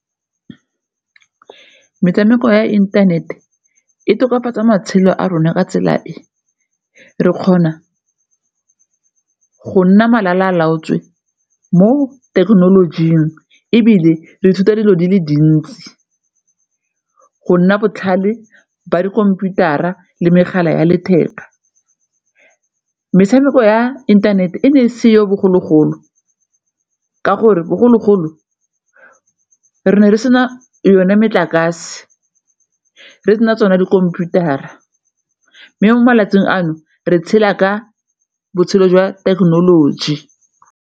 Metshameko ya internet-e e tokafatsa matshelo a rona ka tsela e, re kgona go nna malala laotswe mo thekenolojing ebile re ithuta dilo di le dintsi, go nna botlhale ba dikhomputara le megala ya letheka. Metshameko ya inthanete e ne e seyo bogologolo ka gore bogologolo re ne re sena yone metlakase, re sena tsona dikhomputara mme mo malatsing ano re tshela ka botshelo jwa thekenoloji.